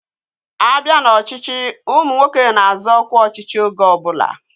A bịa n'ọchịchị, ụmụ nwoke na-azọ ọkwa ọchịchị oge ọbụla